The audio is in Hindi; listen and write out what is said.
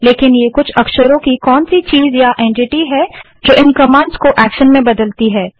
लेकिन ये कुछ अक्षरों की कौन सी चीज़ या एंटिटी है जो इन कमांड्स को एक्शन में बदलती है